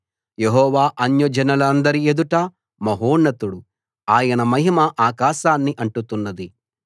యెహోవా అన్యజనులందరి ఎదుట మహోన్నతుడు ఆయన మహిమ ఆకాశాన్ని అంటుతున్నది